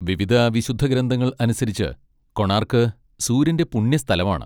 വിവിധ വിശുദ്ധഗ്രന്ഥങ്ങൾ അനുസരിച്ച്, കൊണാർക്ക് സൂര്യന്റെ പുണ്യസ്ഥലമാണ്.